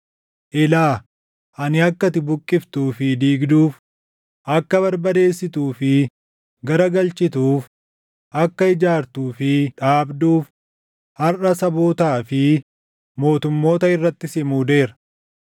Ilaa, ani akka ati buqqiftuu fi diigduuf, akka barbadeessituu fi garagalchituuf, akka ijaartuu fi dhaabduuf harʼa sabootaa fi mootummoota irratti si muudeera.”